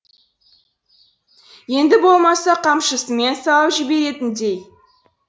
енді болмаса қамшысымен салып жіберетіндей